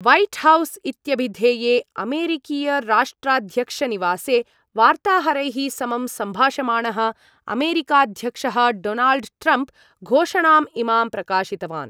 White House इत्यभिधेये अमेरिकीयराष्ट्राध्यक्षनिवासे वार्ताहरैः समं सम्भाषमाणः अमेरिकाध्यक्षः डोनाल्ड् ट्रम्प् घोषणां इमां प्रकाशितवान्।